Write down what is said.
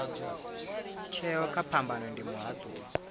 tsheo kha phambano ndi muhatuli